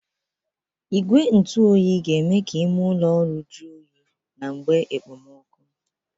Igwe ntụ oyi ga-eme ka ime ụlọ ọrụ jọ oyi na mgbe ekpemọkụ